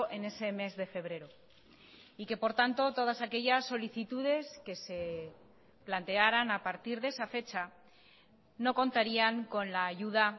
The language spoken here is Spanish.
en ese mes de febrero y que por tanto todas aquellas solicitudes que se plantearan a partir de esa fecha no contarían con la ayuda